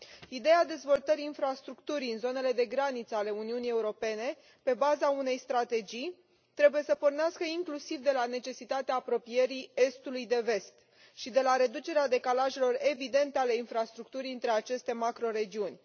Ideea dezvoltării infrastructurii în zonele de graniță ale Uniunii Europene pe baza unei strategii trebuie să pornească inclusiv de la necesitatea apropierii estului de vest și de la reducerea decalajelor evidente ale infrastructurii dintre aceste macroregiuni.